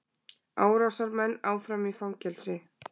Árásarmenn áfram í fangelsi